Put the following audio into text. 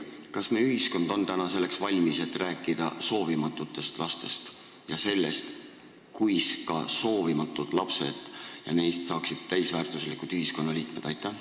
Kas meie ühiskond on selleks valmis, et rääkida soovimatutest lastest ja sellest, kuis ka soovimatutest lastest saaksid täisväärtuslikud ühiskonnaliikmed?